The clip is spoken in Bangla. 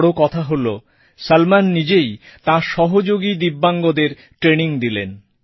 বড় কথা হলো সলমন নিজেই তাঁর সহযোগী দিব্যাঙ্গদের ট্রেইনিং দিলেন